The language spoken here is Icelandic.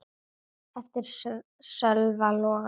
eftir Sölva Logason